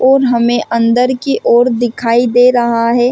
और हमें अंदर की ओर दिखाई दे रहा है।